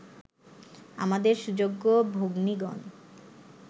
আমাদের সুযোগ্য ভগ্নীগণ